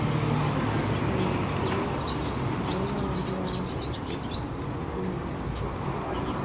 Emeka nwere ekele mgbe onye ọbịa kwụsịrị inye ya njem.